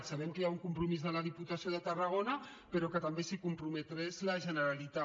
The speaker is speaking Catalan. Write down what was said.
sabem que hi ha un compromís de la diputació de tarragona però que també s’hi comprometés la generalitat